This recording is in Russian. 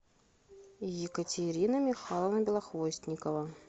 екатерина михайловна белохвостникова